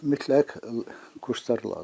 Mütləq kurslar lazımdır.